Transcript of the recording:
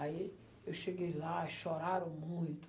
Aí eu cheguei lá e choraram muito.